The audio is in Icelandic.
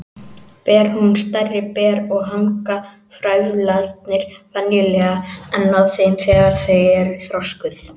Ber hún stærri ber og hanga frævlarnir venjulega enn á þeim þegar þau eru þroskuð.